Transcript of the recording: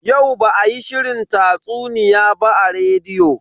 Yau ba a yi shirin tatsuniya ba a rediyo.